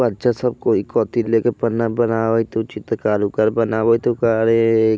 बच्चा सब कोई कथी लेके पन्ना बनावत होऊ चित्रकार उकार बनावैत होऊ का रे।